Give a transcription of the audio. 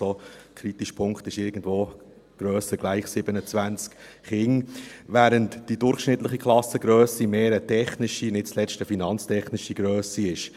Der kritische Punkt liegt ungefähr bei grösser oder gleich 27 Kindern, während die durchschnittliche Klassengrösse eher eine technische, und nicht zuletzt eine finanztechnische Grösse ist.